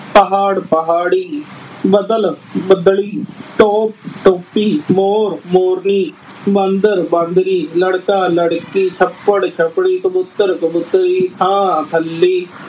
ਪਹਾੜ-ਪਹਾੜੀ, ਬੱਦਲ-ਬੱਦਲੀ, ਟੋਪ-ਟੋਪੀ, ਮੋਰ-ਮੋਰਨੀ, ਬਾਂਦਰ-ਬਾਂਦਰੀ, ਲੜਕਾ-ਲੜਕੀ, ਛੱਪੜ-ਛੱਪੜੀ, ਕਬੂਤਰ-ਕਬੂਤਰੀ, ਥਾਂ-ਥੱਲੀ।